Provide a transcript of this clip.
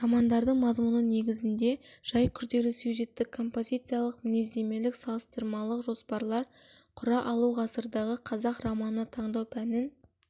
романдардың мазмұны негізіңде жай күрделі сюжеттік-композициялық мінездемелік-салыстырмалық жоспарлар құра алу ғасырдағы қазақ романы таңдау пәнін